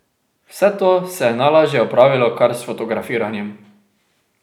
Vse to se je najlažje opravilo kar s fotografiranjem.